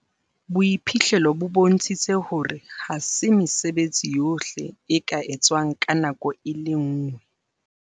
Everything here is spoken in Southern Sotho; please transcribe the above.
Boiphihlelo bo bontshitse hore ha se mesebetsi yohle e ka etswang ka nako e le nngwe.